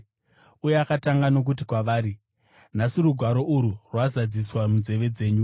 uye akatanga nokuti kwavari, “Nhasi rugwaro urwu rwazadziswa munzeve dzenyu.”